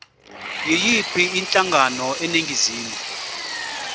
yiyiphi inhlangano eningizimu